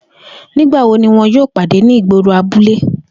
Nigbawo ni wọn yoo pade ni igboro abule?